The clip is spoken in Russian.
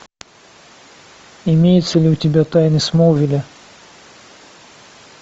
имеется ли у тебя тайны смолвиля